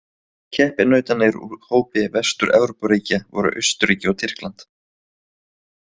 Keppinautarnir úr hópi Vestur-Evrópuríkja voru Austurríki og Tyrkland.